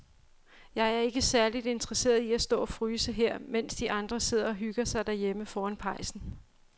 Jeg er ikke særlig interesseret i at stå og fryse her, mens de andre sidder og hygger sig derhjemme foran pejsen.